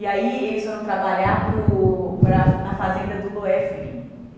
E aí, eles foram trabalhar para o para a na fazenda do Loefgrin.